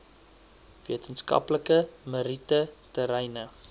wetenskaplike meriete terreine